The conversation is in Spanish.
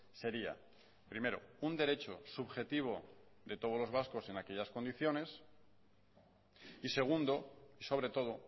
sería primero un derecho subjetivo de todos los vascos en aquellas condicione y segundo sobre todo